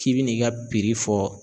K'i bi n'i ka fɔ